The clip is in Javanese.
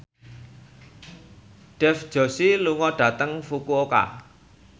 Dev Joshi lunga dhateng Fukuoka